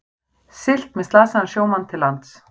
Siglt með slasaðan sjómann til lands